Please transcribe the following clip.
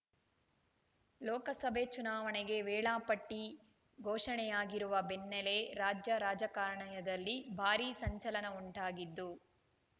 ಲೋಕಸಭೆ ಚುನಾವಣೆಗೆ ವೇಳಾಪಟ್ಟಿ ಘೋಷಣೆಯಾಗಿರುವ ಬೆನ್ನಲ್ಲೇ ರಾಜ್ಯ ರಾಜಕಾರಣಯದಲ್ಲಿ ಭಾರೀ ಸಂಚಲನ ಉಂಟಾಗಿದ್ದು